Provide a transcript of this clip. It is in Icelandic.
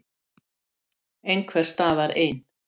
Einhvers staðar ein.